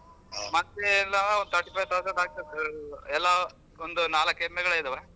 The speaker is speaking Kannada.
ಮತ್ತೆ thirty five thousand ಆಗ್ತದೆ ಎಲ್ಲಾ ಒಂದ್ ನಾಲಕ ಎಮ್ಮೆಗಳಿದಾವೆ.